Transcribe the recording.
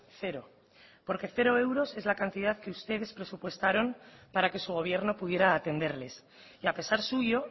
cero porque cero euros es la cantidad que ustedes presupuestaron para que su gobierno pudiera atenderles y a pesar suyo